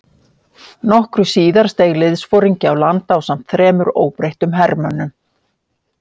Nokkru síðar steig liðsforingi á land ásamt þremur óbreyttum hermönnum.